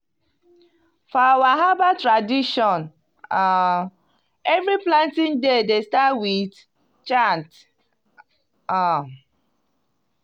for our herbal tradition um every planting day dey start with chant. um